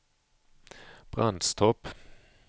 Brandstorp